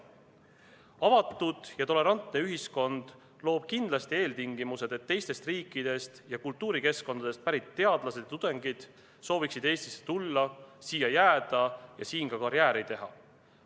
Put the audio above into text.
Avatud ja tolerantne ühiskond loob kindlasti eeltingimused, et teistest riikidest ja kultuurikeskkondadest pärit teadlased ja tudengid sooviksid Eestisse tulla, siia jääda ja siin ka karjääri teha.